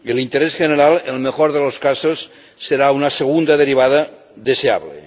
El interés general, en el mejor de los casos, será una segunda derivada deseable.